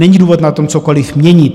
Není důvod na tom cokoliv měnit.